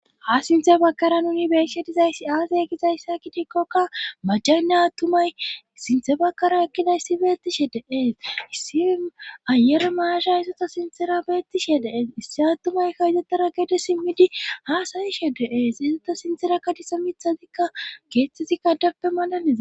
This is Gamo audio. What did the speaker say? ha sinthe bakara nuni beeishe dizayssi aasay ekizayssa kitikkokka majjaynna tumay sinthe bakkara ekkida issi beettishe deees issi ayere maasha ysota sintera beettishe deees issi attumay ka ydetera gede simmidi ha sayishe deees isota sinthera kadisa mithazikka keeththeti kandappe malaliza